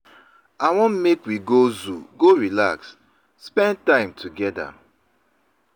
I wan make we go zoo go relax, spend time togeda.